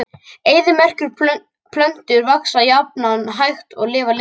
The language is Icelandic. Eyðimerkurplöntur vaxa jafnan hægt og lifa lengi.